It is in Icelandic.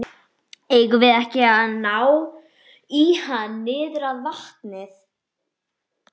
Eigum við ekki að ná í hann niður að vatni?